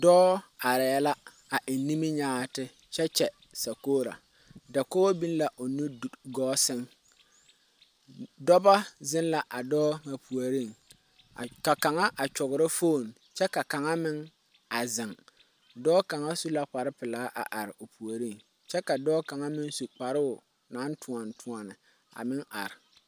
Dɔɔ arɛɛ la a eŋ niminyaati kyɛ kyɛ sakoora dakogi biŋ la o nu gɔɔ sɛŋ dɔbɔ zeŋ la a dɔɔ ŋa puoriŋ ka kaŋa a kyɔgrɔ fooni kyɛ ka kaŋa meŋ a zeŋ dɔɔ kaŋa meŋ su la kpare pelaa a are o puoriŋ kyɛ ka dɔɔ kaŋa meŋ su kparoo naŋ tuoni tuoni a meŋ are.